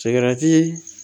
Sigarati